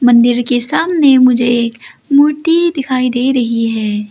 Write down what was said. मंदिर के सामने मुझे एक मूर्ति दिखाई दे रही है।